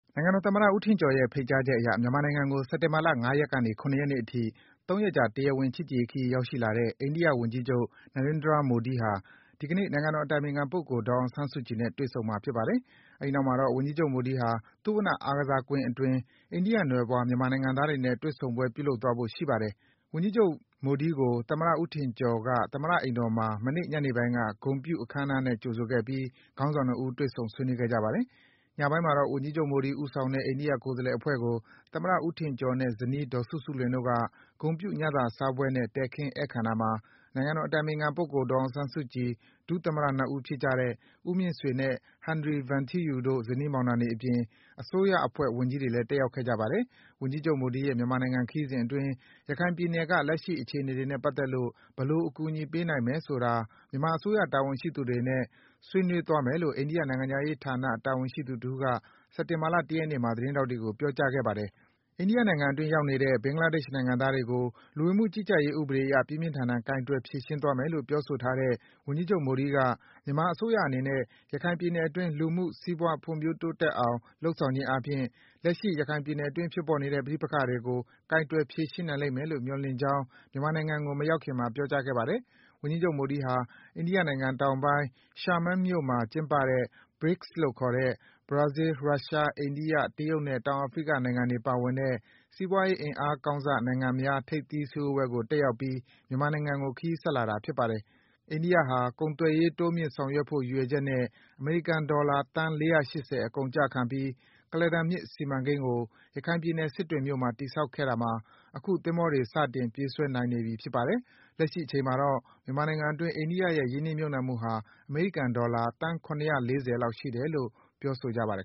နိုင်ငံတော် သမ္မတ ဦးထင်ကျော်ရဲ့ ဖိတ်ကြားချက် အရ မြန်မာနိုင်ငံကို စက်တင်ဘာလ ၅ ရက်ကနေ ၇ ရက်နေ့အထိ ၃ ရက်ကြာ တရားဝင် ချစ်ကြည်ရေးခရီး ရောက်ရှိလာတဲ့ အိန္ဒိယ ဝန်ကြီးချုပ် Narendra Modi ဟာ ဒီကနေ့ နိုင်ငံတော် အတိုင်ပင်ခံပုဂ္ဂိုလ် ဒေါ်အောင်ဆန်းစုကြည်နဲ့ တွေ့ဆုံမှာ ဖြစ်ပါတယ်။ အဲဒီနောက်မှာတော့ ဝန်ကြီးချုပ် မိုဒီဟာ သုဝဏ္ဏ အားကစားကွင်း အတွင်း အိန္ဒိယနွယ်ဖွား၊ မြန်မာနိုင်ငံသားတွေနဲ့ တွေ့ဆုံပွဲ ပြုလုပ်သွားဖို့ ရှိပါတယ်။ ဝန်ကြီးချုပ် Narendra Modi ကို သမ္မတ ဦးထင်ကျော် သမ္မတ အိမ်တော်မှာ မနေ့ ညနေပိုင်းက ဂုဏ်ပြု အခမ်းအနားနဲ့ ကြိုဆိုခဲ့ပြီး ခေါင်းဆောင် ၂ ဦး တွေ့ဆုံ ဆွေးနွေးခဲ့ကြပါတယ်။ ညပိုင်းမှာတော့ ဝန်ကြီးချုပ် မိုဒီဦးဆောင်တဲ့ အိန္ဒိယ ကိုယ်စားလှယ် အဖွဲ့ကို သမ္မတ ဦးထင်ကျော်နဲ့ ဇနီး ဒေါ်စုစုလွင်တို့က ဂုဏ်ပြု ညစာစားပွဲနဲ့ တည်ခင်း ဧည့်ခံတာမှာ နိုင်ငံတော် အတိုင်ပင်ခံပုဂ္ဂိုလ် ဒေါ်အောင်ဆန်းစုကြည်၊ ဒုသမ္မတ ၂ ဦးဖြစ်ကြတဲ့ ဦးမြင့်ဆွေနဲ့ ဟန်နရီ ဗန်ထီးယူတို့ ဇနီးမောင်နှံတွေအပြင်၊ အစိုးရအဖွဲ့ ဝန်ကြီးတွေလည်း တက်ရောက်ခဲ့ကြပါတယ်။ ဝန်ကြီးချုပ် မိုဒီရဲ့မြန်မာနိုင်ငံ ခရီးစဉ်အတွင်း ရခိုင်ပြည်နယ်က လက်ရှိ အခြေအနေတွေနဲ့ ပတ်သက်ပြီး ဘယ်လို အကူအညီပေးနိုင် မယ်ဆိုတာ မြန်မာအစိုးရ တာဝန်ရှိသူတွေနဲ့ ဆွေးနွေးသွားမယ်လို့ အိန္ဒိယ နိုင်ငံခြားရေးဌာန တာဝန်ရှိသူတဦးက စက်တင်ဘာလ ၁ ရက်နေ့မှာ သတင်းထောက်တွေကို ပြောကြားခဲ့ပါတယ်။ အိန္ဒိယနိုင်ငံအတွင်း ရောက်နေတဲ့ ဘင်္ဂလာဒေ့ရှ် နိုင်ငံသားတွေကို လူဝင်မှုကြီးကြပ်ရေး ဥပဒေအရ ပြင်းပြင်းထန်ထန် ကိုင်တွယ် ဖြေရှင်းသွားမယ်လို့ ပြောဆိုထားတဲ့ ဝန်ကြီးချုပ် မိုဒီက မြန်မာအစိုးရအနေနဲ့ ရခိုင်ပြည်နယ်အတွင်း လူမှု စီးပွား ဖွံ့ဖြိုးတိုးတက်အောင် လုပ်ဆောင်ခြင်းအားဖြင့် လက်ရှိ ရခိုင်ပြည်နယ်အတွင်း ဖြစ်ပေါ်နေတဲ့ ပဋိပက္ခတွေကို ကိုင်တွယ် ဖြေရှင်းနိုင်လိမ့်မယ်လို့ မျှော်လင့်ကြောင်း မြန်မာနိုင်ငံကို မရောက်ခင်မှာ ပြောကြားခဲ့ပါတယ်။ ဝန်ကြီးချုပ် မိုဒီဟာ တရုတ်နိုင်ငံ တောင်ပိုင်း Xiamen မြို့မှာ ကျင်းပတဲ့ BRICS လို့ခေါ်တဲ့ ဘရာဇီးလ်၊ ရုရှား၊ အိန္ဒိယ၊ တရုတ်နဲ့ တောင်အာဖရိက နိုင်ငံတွေ ပါဝင်တဲ့ စီးပွားရေး အင်အားကောင်းစ နိုင်ငံများ ထိပ်သီး စည်းဝေးပွဲကို တက်ရောက်ပြီး မြန်မာနိုင်ငံကို ခရီးဆက်လာတာ ဖြစ်ပါတယ်။ အိန္ဒိယဟာ ကုန်သွယ်ရေး တိုးမြင့် ဆောင်ရွက်ဖို့ ရည်ရွယ်ချက်နဲ့ အမေရိကန် ဒေါ်လာ သန်း ၄၈၀ အကုန်အကျခံပြီး ကုလားတန်မြစ် စီမံကိန်းကို ရခိုင်ပြည်နယ်၊ စစ်တွေမြို့မှာ တည်ဆောက်ခဲ့တာမှာ အခု သင်္ဘောတွေ စတင် ပြေးဆွဲနိုင်နေပြီ ဖြစ်ပါတယ်။ လက်ရှိ အချိန်မှာတော့ မြန်မာနိုင်ငံအတွင်း အိန္ဒိယရဲ့ ရင်းနှီးမြုပ်နံှမှုဟာ အမေရိကန် ဒေါ်လာ သန်း ၇၄၀ လောက် ရှိတယ်လို့ ဆိုပါတယ်